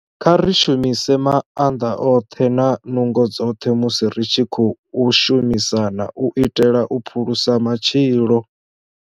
Kha ri shumise maanḓa oṱhe na nungo dzoṱhe musi ri tshi khou shumisana u itela u phulusa matshilo.